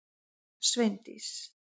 Sveindís